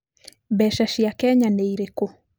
Mbeca cia Kenya nĩ irĩkũ?